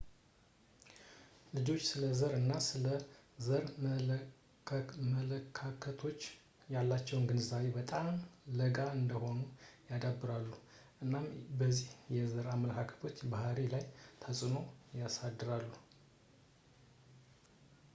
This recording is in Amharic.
ልጆች ስለ ዘር እና ስለ ዘር መለካከቶች ያላቸውን ግንዛቤ በጣም ለጋ እንደሆኑ ያዳብራሉ እናም እነዚህ የዘር አመለካከቶች ባህሪይ ላይ ተጽዕኖ ያሳድራሉ